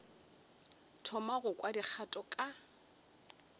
thoma go kwa dikgato ka